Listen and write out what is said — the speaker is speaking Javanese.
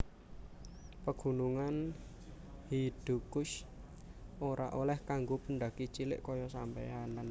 Pegunungan Hidukush ora oleh kanggo pendaki cilik koyo sampeyan